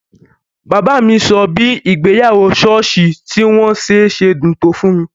Bàbá mi sọ bí ìgbéyàwó ṣọ́ọ̀ṣì tí wọ́n ṣe sedùn tó fún mi